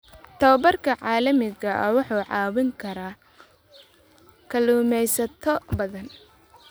Tababarka caalamiga ah wuxuu caawin karaa kalluumaysato badan.